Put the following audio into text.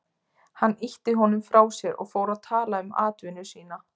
Hann ýtti honum frá sér og fór að tala um atvinnu sína.